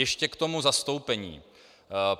Ještě k tomu zastoupení.